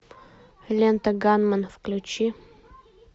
лента ганмен включи